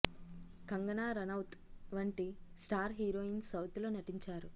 కంగనా రనౌత్ వంటి star heroines south లో నటించారు